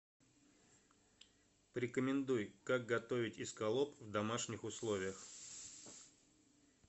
порекомендуй как готовить эскалоп в домашних условиях